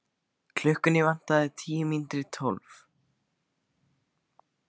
Klukkuna vantaði tíu mínútur í tólf.